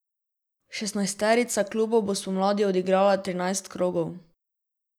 Šestnajsterica klubov bo spomladi odigrala trinajst krogov.